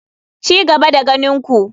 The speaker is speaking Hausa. Ci gaba da ganin ku.